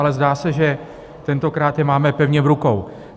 Ale zdá se, že tentokrát je máme pevně v rukou.